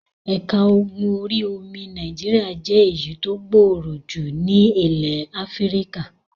Ẹ̀ka ogun orí-omi Nàìjíríà jẹ́ èyí tó gbọọrọ jù ní ilẹ̀ Áfíríkà.